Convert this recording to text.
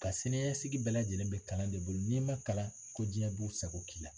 Ka siniɲɛsigi bɛɛ lajɛlen bɛ kalan de bolo n'i ma kalan ko diɲɛ b'a sago k'i la